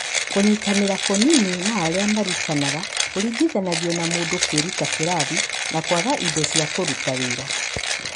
Kũnyitanĩra kũnini na arĩa marutanaga kũringithanio na mũndũ kwĩruta kĩrathi, na kwaga indo cia kũĩruta wĩra.